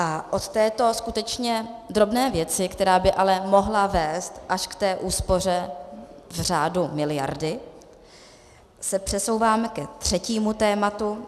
A od této skutečně drobné věci, která by ale mohla vést až k té úspoře v řádu miliardy, se přesouvám ke třetímu tématu.